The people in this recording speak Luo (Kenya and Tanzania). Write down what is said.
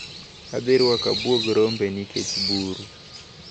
Adhirwako abuog rombe nikech buru.